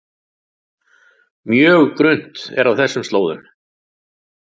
Mjög grunnt er á þessum slóðum